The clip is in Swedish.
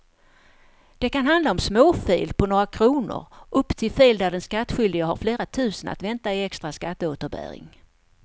Det kan handla om småfel på några kronor upp till fel där den skattskyldige har flera tusen att vänta i extra skatteåterbäring.